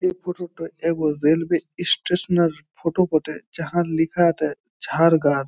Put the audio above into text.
এই ফোটো টোয় রেলওয়ে ই-স্টেশন -এর ফটো বটে যাহার লেখা আছে ঝাড়গার।